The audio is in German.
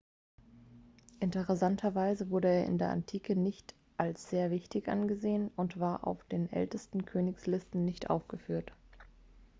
interessanterweise wurde er in der antike nicht als sehr wichtig angesehen und war auf den ältesten königslisten nicht aufgeführt